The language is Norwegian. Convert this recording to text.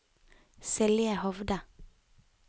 Silje Hovde